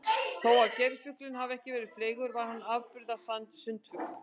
Þó að geirfuglinn hafi ekki verið fleygur var hann afburða sundfugl.